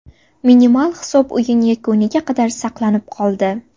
Minimal hisob o‘yin yakuniga qadar saqlanib qoldi.